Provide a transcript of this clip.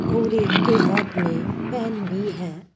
और एक के हाथ मे पेन भी है।